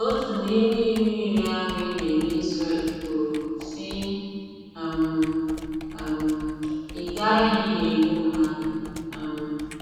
Otu n’ime Iwu Iri ahụ e nyere Izrel kwuru, sị: um “ um Ị Gaghi egbu mmadụ um. ”